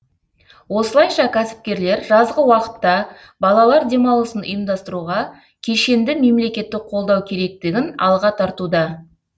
осылайша кәсіпкерлер жазғы уақытта балалар демалысын ұйымдастыруға кешенді мемлекеттік қолдау керектігін алға тартуда